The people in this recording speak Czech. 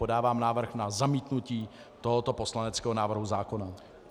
Podávám návrh na zamítnutí tohoto poslaneckého návrhu zákona.